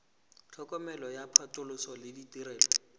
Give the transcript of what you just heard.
tlhokomelo ya phatlhoso le ditirelo